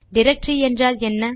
directory என்றால் என்ன